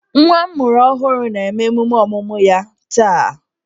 Nwa m mụrụ ọhụrụ na-eme emume ọmụmụ ya taa